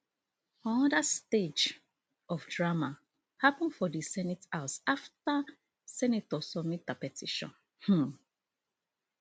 anoda stage of drama happun for di senate house afta senator submit her petition um